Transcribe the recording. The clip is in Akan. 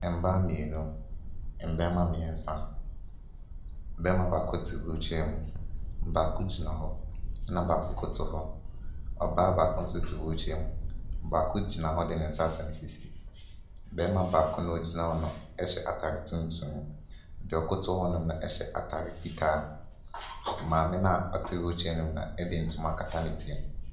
Mmaa mmienu, mmarima mmiɛnsa, barima baako te wheelchair mu, baako gyina hɔ na baako koto hɔ. Ɔbaa baako nso te wheelchair mu, baako gyina hɔ de ne nsa asɔ ne sisi. Barima baako no a ogyina hɔ no hyɛ ataare tuntum, deɛ ɔkoto hɔ no hyɛ ataare fitaa, maame no a ɔte wheelchair mu no de ntoma akata ne ti.